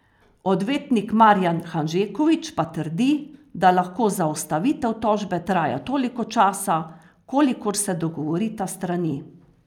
Odvetnik Marijan Hanžeković pa trdi, da lahko zaustavitev tožbe traja toliko časa, kolikor se dogovorita strani.